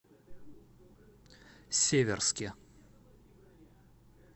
северске